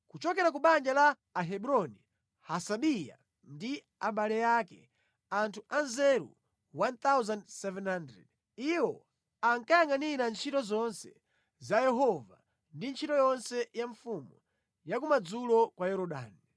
Kuchokera ku banja la Ahebroni: Hasabiya ndi abale ake, anthu anzeru 1,700. Iwo ankayangʼanira ntchito zonse za Yehova ndi ntchito yonse ya mfumu cha kumadzulo kwa Yorodani.